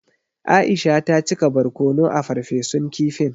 Aisha ta cika barkono a farfesun kifin.